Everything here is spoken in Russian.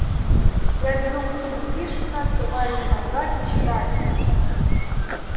я беру книгу пришвина открываю её наугад и читаю